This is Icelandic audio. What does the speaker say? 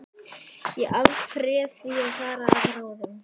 Ég afréð því að fara að ráðum